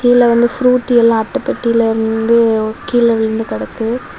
கீழ வந்து ஃப்ரூட்டி எல்லா அட்டை பொட்டியிலந்து கீழ விழுந்து கடக்கு.